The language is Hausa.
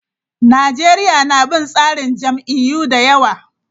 Najeriya na bin tsarin jam'iyyu da yawa.